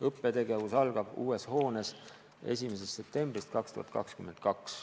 Õppetegevus algab uues hoones 1. septembril 2022.